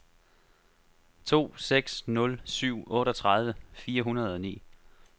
to seks nul syv otteogtredive fire hundrede og ni